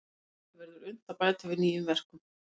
Ennfremur verður unnt að bæta við það nýjum verkum.